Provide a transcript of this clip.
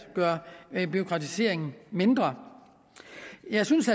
gøre bureaukratiseringen mindre jeg synes